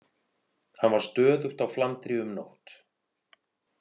Hann var stöðugt á flandri um nótt.